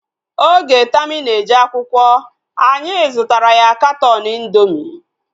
Oge Tami na-eje akwụkwọ, anyị zụtara ya katọọnu indoomị mgbe